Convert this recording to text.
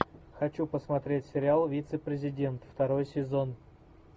хочу посмотреть сериал вице президент второй сезон